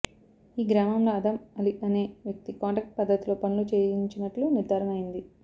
ఈ గ్రామంలో అదమ్ అలీ అనే వ్యక్తి కాంట్రాక్ట్ పద్ధతిలో పనులు చేయించినట్లు నిర్ధారణ అయింది